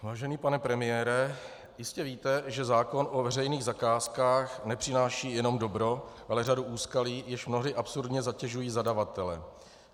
Vážený pane premiére, jistě víte, že zákon o veřejných zakázkách nepřináší jenom dobro, ale řadu úskalí, jež mnohdy absurdně zatěžují zadavatele.